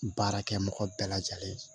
Baarakɛ mɔgɔ bɛɛ lajɛlen